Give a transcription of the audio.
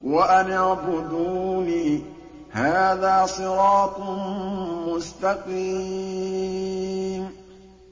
وَأَنِ اعْبُدُونِي ۚ هَٰذَا صِرَاطٌ مُّسْتَقِيمٌ